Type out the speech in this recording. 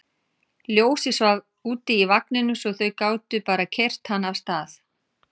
Ljósið svaf úti í vagninum svo þau gátu bara keyrt hann af stað.